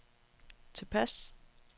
tilpas